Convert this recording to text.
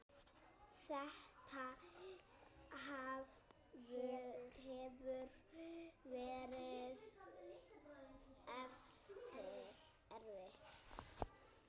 Þetta hefur verið erfitt.